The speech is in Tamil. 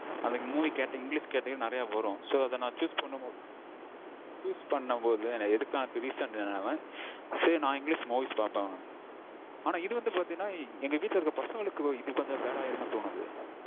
அந்த movies category english category ல நெறைய வரும். So நா அத choose பண்ணும்போது நா எடுக்காததுக்கு reason என்னன்னா mam, சரி நா movies நெறைய பாப்பேன் mam. ஆனா இது வந்து பாத்தீங்கனா எங்க வீட்ல இருக்க பசங்களுக்கு இது கொஞ்சம் bad ஆயிருமோனு தோணுது